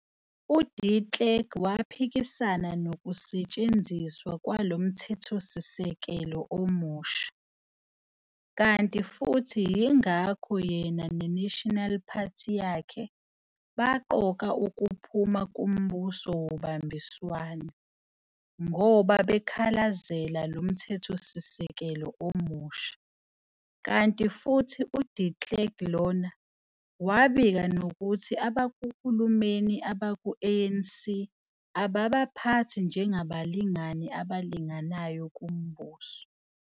UDe Klerk waphikisana nokusetshenziswa kwalo mthethosisekelo omsuha, kanti futhi yingakho yena neNational Party yakhe, baqoka ukuphuma kumbuso wobambiswano, ngoba bekhalazela lo mthethosisekelo omusha, kanti futhi uDe Klerk lona, wabika nokuthi abakuhulumeni abaku-ANC ababaphathi njengabalingani abalinganayo kumbuso.